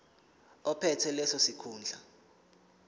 ophethe leso sikhundla